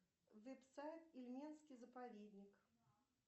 веб сайт ильменский заповедник